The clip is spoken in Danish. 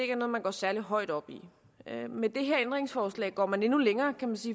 er noget man går særlig højt op i med det her ændringsforslag går man endnu længere